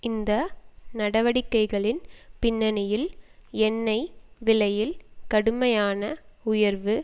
இந்த நடவடிக்கைகளின் பின்னணியில் எண்ணெய் விலையில் கடுமையான உயர்வு